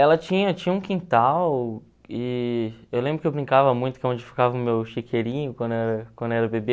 Ela tinha tinha um quintal e eu lembro que eu brincava muito que é onde ficava o meu chiqueirinho quando era quando era bebê.